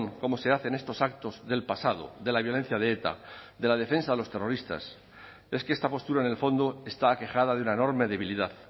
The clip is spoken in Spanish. como se hacen estos actos del pasado de la violencia de eta de la defensa de los terroristas es que esta postura en el fondo está aquejada de una enorme debilidad